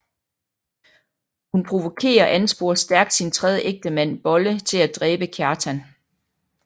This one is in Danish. Hun provokerer og ansporer stærkt sin tredje ægtemand Bolle til at dræbe Kjartan